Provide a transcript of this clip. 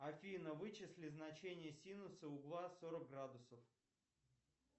афина вычисли значение синуса угла сорок градусов